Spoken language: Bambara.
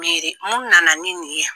Miiri mun nana ni nin ye yan ?